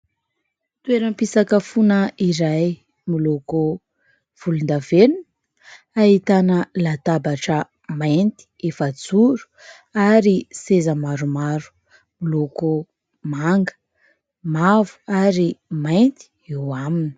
Toeram-pisakafoana iray miloko volondavenona, ahitana latabatra mainty efa-joro ary seza maromaro miloko manga, mavo ary mainty eo aminy.